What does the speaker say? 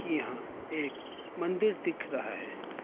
की यहां एक मंदिर दिख रहा है।